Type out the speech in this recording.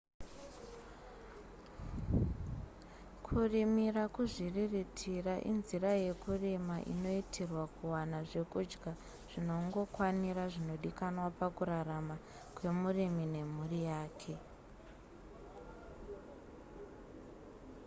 kurimira kuzviriritira inzira yekurima inoitirwa kuwana zvekudya zvinongokwanira zvinodikanwa pakurarama kwemurimi nemhuri yake